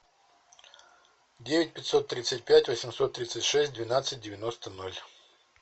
девять пятьсот тридцать пять восемьсот тридцать шесть двенадцать девяносто ноль